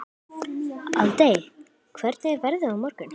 Aldey, hvernig er veðrið á morgun?